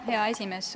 Hea esimees!